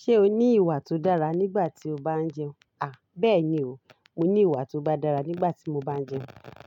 Ṣé o ní ìwà tó dára nígbà tí o bá ń jẹun? À, bẹ́ẹ̀ni o, mo ní ìwà tó bá dára nígbà tí mo bá ń jẹun.